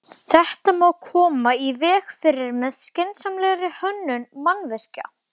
Þetta má koma í veg fyrir með skynsamlegri hönnun mannvirkja.